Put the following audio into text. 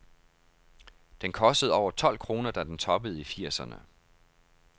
Den kostede over tolv kroner, da den toppede i firserne.